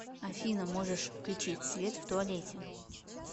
афина можешь включить свет в туалете